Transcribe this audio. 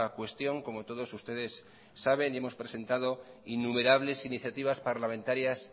cuestión como todos ustedes saben y hemos presentado innumerables iniciativas parlamentarias